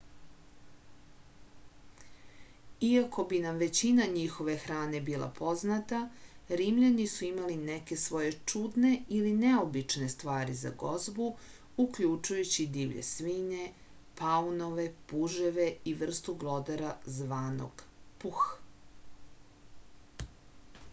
iako bi nam većina njihove hrane bila poznata rimljani su imali neke svoje čudne ili neobične stvari za gozbu uključujući divlje svinje paunove puževe i vrstu glodara zvanog puh